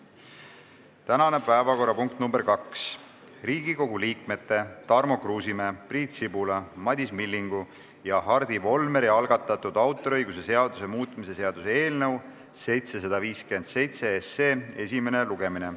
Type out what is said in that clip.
Tänane päevakorrapunkt nr 2 on Riigikogu liikmete Tarmo Kruusimäe, Priit Sibula, Madis Millingu ja Hardi Volmeri algatatud autoriõiguse seaduse muutmise seaduse eelnõu 757 esimene lugemine.